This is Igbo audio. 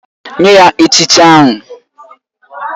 Nye ya echichi ahụ!!